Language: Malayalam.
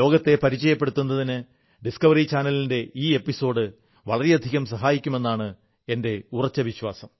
ലോകത്തെ പരിചയപ്പെടുത്തുന്നതിന് ഡിസ്ക്കവറി ചാനലിന്റെ ഈ എപ്പിസോഡ് വളരെയധികം സഹായിക്കുമെന്നാണ് എന്റെ ഉറച്ച വിശ്വാസം